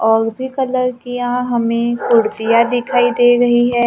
और भी कलर की यहां हमें कुर्सियां दिखाई दे रही है।